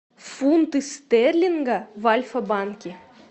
фунты стерлинга в альфа банке